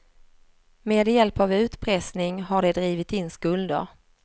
Med hjälp av utpressning har de drivit in skulder.